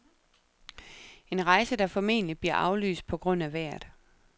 En rejse, der formentligt bliver aflyst på grund af vejret.